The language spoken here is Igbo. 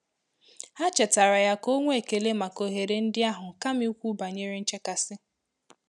Há chétààrà yá kà 0́ nwèé ékèlé màkà óhérè ndị́ áhụ́ kámà ìkwú bànyèrè nchékàsị́.